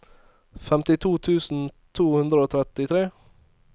femtito tusen to hundre og trettitre